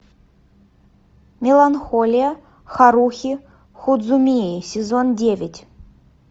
меланхолия харухи судзумии сезон девять